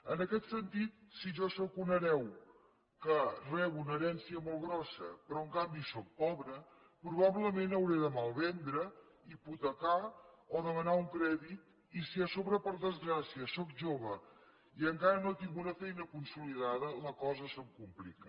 en aquest sentit si jo sóc un hereu que rebo una herència molt grossa però en canvi sóc pobre probablement hauré de malvendre hipotecar o demanar un crèdit i si a sobre per desgràcia sóc jove i encara no tinc una feina consolidada la cosa se’m complica